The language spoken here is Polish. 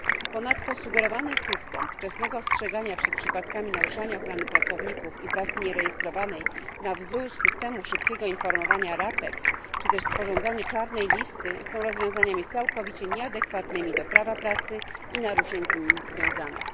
Ponadto sugerowany system wczesnego ostrzegania przed przypadkami naruszania ochrony pracowników i pracy nierejestrowanej na wzór systemu szybkiego informowania RAPEX, czy też sporządzanie czarnej listy, są rozwiązaniami całkowicie nieadekwatnymi do prawa pracy i naruszeń z nimi związanych.